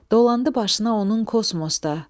Dolandı başına onun kosmosda.